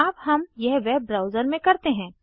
अब हम यह वेब ब्राउज़र में करते हैं